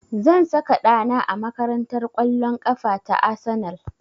Zan saka ɗa na a makarantar ƙwallon ƙafa ta Arsenal